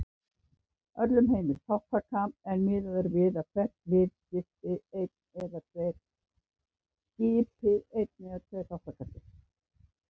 Öllum heimil þátttaka en miðað er við að hvert lið skipi einn eða tveir þátttakendur.